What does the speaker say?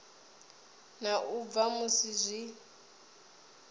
na u bva musi zwi